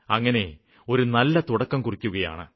അങ്ങനെ ഒരു നല്ല തുടക്കം കുറിക്കുകയാണ്